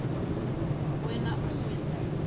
wa yena u n wi